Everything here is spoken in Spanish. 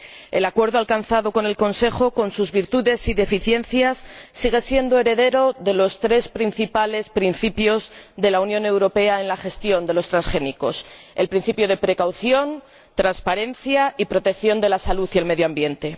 El acuerdo alcanzado con el Consejo, con sus virtudes y deficiencias, sigue siendo heredero de los tres principales principios de la Unión Europea en la gestión de los transgénicos los principios de cautela, de transparencia y de protección de la salud y el medio ambiente.